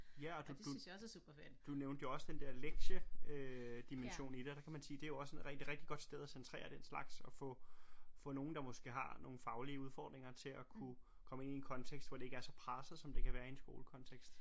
Ja og du du du nævnte jo også den der lektie øh dimension i det og der kan man sige det er jo også en rigtig godt sted at centrere den slags og få få nogen der måske har nogle faglige udfordringer til at kunne komme ind i en kontekst hvor det ikke er så presset som det kan være i en skolekontekst